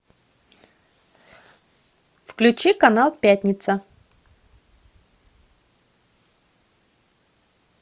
включи канал пятница